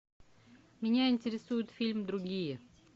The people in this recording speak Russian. меня интересует фильм другие